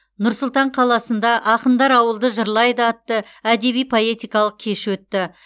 нұр сұлтан қаласында ақындар ауылды жырлайды атты әдеби поэтикалық кеші өтті